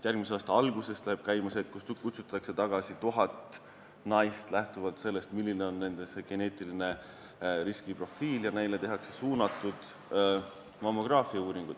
Järgmise aasta algusest vist läheb käima see, et kutsutakse tagasi tuhat naist selle info põhjal, milline on nende geneetiline riskiprofiil, ja neile tehakse suunatud mammograafiauuringud.